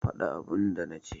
Fada abin da na ce.